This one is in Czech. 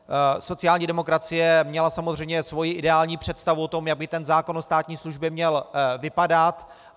Sociální demokracie měla samozřejmě svoji ideální představu o tom, jak by ten zákon o státní službě měl vypadat.